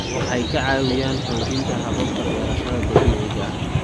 Waxay ka caawiyaan xoojinta hababka beerashada dabiiciga ah.